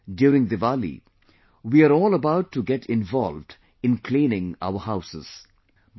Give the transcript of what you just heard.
Now, during Diwali, we are all about to get involved in cleaning our houses